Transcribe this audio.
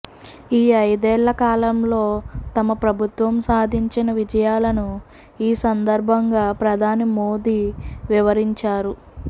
ఈ ఐదేళ్ళ కాలంలో తమ ప్రభుత్వం సాధించిన విజయాలను ఈ సందర్భంగా ప్రధాని మోదీ వివరించారు